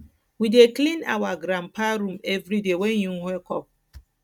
we dey clean our granpa room everyday wen im wake up